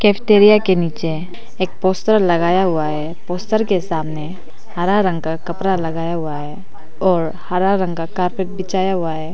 Cafeteria के नीचे एक पोस्टर लगाया हुआ है पोस्टर के सामने हरा रंग का कपड़ा लगाया हुआ है और हरा रंग का बिछाया हुआ है।